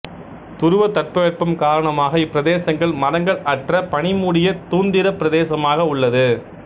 துருவத் தட்பவெப்பம் காரணமாக இப்பிரதேசங்கள் மரங்கள் அற்ற பனி மூடிய தூந்திரப் பிரதேசமாக உள்ளது